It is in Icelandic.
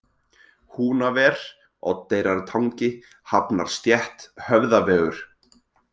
Húnaver, Oddeyrartangi, Hafnarstétt, Höfðavegur